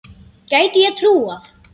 Gæti ég trúað.